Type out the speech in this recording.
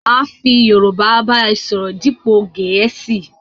Máa fi Yorúbá ba ọ sọ̀rọ̀ dípo Gẹ̀ẹ̀síì